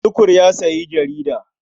Tukur ya sayi jarida.